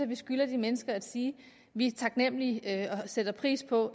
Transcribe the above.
vi skylder de mennesker at sige vi er taknemlige og sætter pris på